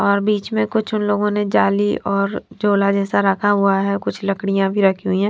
और बीच में कुछ उन लोगों ने जाली और झोला जैसा रखा हुआ हैं और कुछ लकड़ियां भी रखी हुई हैं।